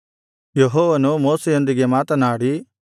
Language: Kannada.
ಯೆಹೋವನು ಮೋಶೆಯೊಂದಿಗೆ ಮಾತನಾಡಿ